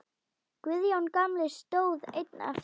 Guðjón gamli stóð einn eftir.